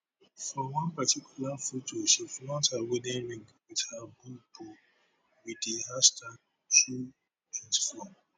for one particular foto she flaunt her wedding ring wit her bubu wit di hashtag two twenty four